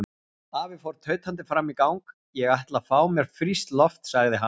Afi fór tautandi fram í gang: Ég ætla að fá mér frískt loft sagði hann.